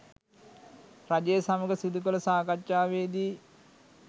රජය සමග සිදු කළ සාකච්ඡාවේ දී